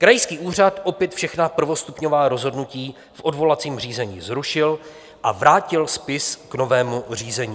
Krajský úřad opět všechny prvostupňová rozhodnutí v odvolacím řízení zrušil a vrátil spis k novému řízení.